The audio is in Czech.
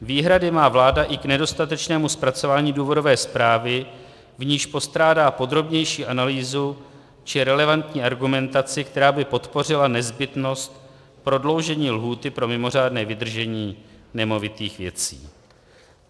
Výhrady má vláda i k nedostatečnému zpracování důvodové zprávy, v níž postrádá podrobnější analýzu či relevantní argumentaci, která by podpořila nezbytnost prodloužení lhůty pro mimořádné vydržení nemovitých věcí.